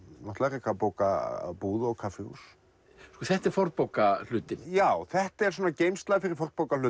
reka bókabúð og kaffihús þetta er já þetta er geymsla fyrir